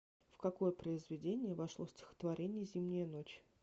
в какое произведение вошло стихотворение зимняя ночь